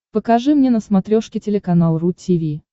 покажи мне на смотрешке телеканал ру ти ви